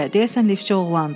Deyəsən liftçi oğlandır.